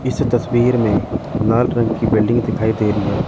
इस तस्वीर में लाल रंग की बिल्डिंग दिखाई दे रही है।